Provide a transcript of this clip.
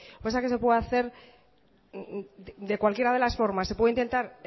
lo que pasa que se puede hacer de cualquiera de las formas se puede intentar